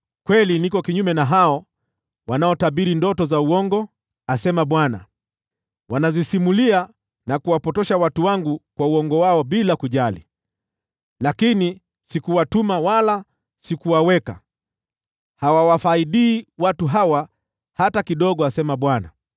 Kweli, niko kinyume na hao wanaotabiri ndoto za uongo,” asema Bwana . “Wanazisimulia na kuwapotosha watu wangu kwa uongo wao bila kujali, lakini sikuwatuma wala sikuwaamuru. Hawawafaidi watu hawa hata kidogo,” asema Bwana .